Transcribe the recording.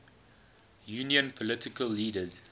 union political leaders